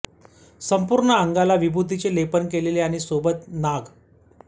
संपूर्ण अंगाला विभूतीचे लेपन केलेले आणि सोबत नाग